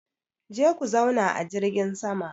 Je ku zauna a jirgin sama!